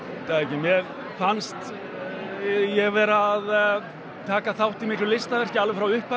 mér fannst ég vera að taka þátt í miklu listaverki frá upphafi